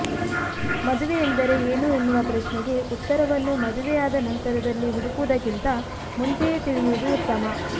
ಮದುವೆ ಅಂದರೆ ಏನು ಎನ್ನುವ ಪ್ರಶ್ನೆೆಗೆ ಉತ್ತರವನ್ನು ಮದುವೆಯಾದ ನಂತರದಲ್ಲಿ ಹುಡುಕುವುದಕ್ಕಿಿಂತ ಮುಂಚೆಯೆ ತಿಳಿಯುವುದು ಉತ್ತಮ